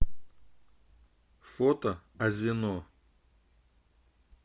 фото азино